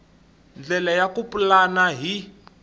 ndlela ya ku pulana hi